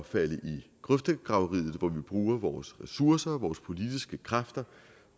falde i grøftegraveriet hvor vi bruger vores ressourcer og vores politiske kræfter